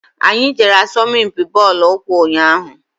Anyị jere asọmpi bọọlụ ụkwụ ụnyaahụ.